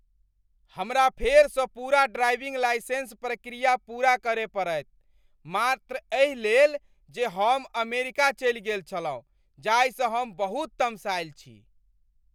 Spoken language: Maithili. हमरा फेरसँ पूरा ड्राइविंग लाइसेंस प्रक्रिया पूरा करय पड़ैत मात्र एहि लेल जे हम अमेरिका चलि गेल छलहुँ जाहिसँ हम बहुत तमसायल छी।